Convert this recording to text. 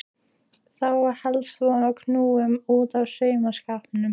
Þá var helst von á kúnnum út af saumaskapnum.